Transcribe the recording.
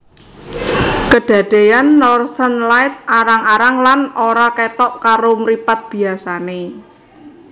Kedadeyan Northern Light arang arang lan ora kethok karo mripat biasa